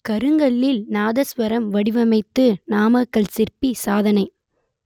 கருங்கல்லில் நாதஸ்வரம் வடிவமைத்து நாமக்கல் சிற்பி சாதனை